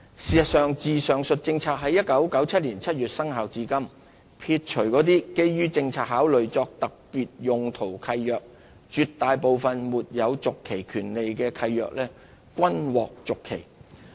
事實上，自上述政策於1997年7月生效至今，撇除那些基於政策考慮作特別用途的契約，絕大部分沒有續期權利的契約均獲續期。